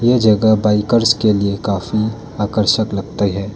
ये जगह बाइकर्स के लिए काफी आकर्षक लगती है।